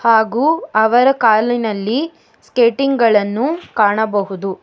ಹಾಗು ಅವರ ಕಾಲಿನಲ್ಲಿ ಸ್ಕೇಟಿಂಗ್ ಗಳನ್ನು ಕಾಣಬಹುದು.